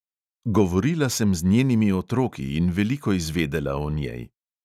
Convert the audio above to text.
Govorila sem z njenimi otroki in veliko izvedela o njej.